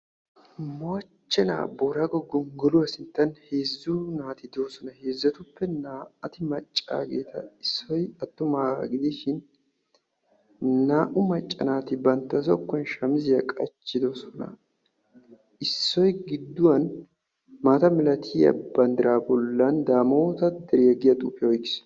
mooche naa moorago gongoluwaa sinttani heezzu naati doosona ettapekka issoy attumaga gidishini naa"u macca naati bantta xeesani maayuwa qachidossona issoy ba zokuwani daamotta deriya yagiya xuufiyara de"iaa bandira oyqiisi.